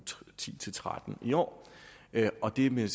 ti til tretten i år og det vil